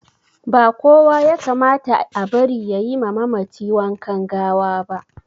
Ba kowa yakamata a bari yayima mamaci wankan gawaba